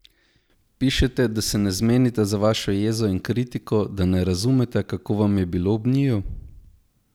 Pišete, da se ne zmenita za vašo jezo in kritiko, da ne razumeta, kako vam je bilo ob njiju?